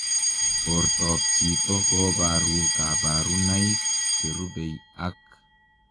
Portoop chitoo kobaruu kabarunaik cherubei ak